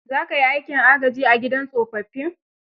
Za kai aikin agaji a gidan tsofaffin?